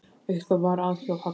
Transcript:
Eitthvað var að hjá Halla.